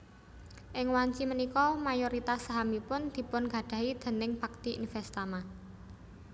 Ing wanci punika mayoritas sahamipun dipunnggadahi dèning Bhakti Investama